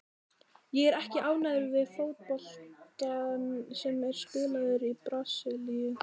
Ég er ekki ánægður með fótboltann sem er spilaður í Brasilíu.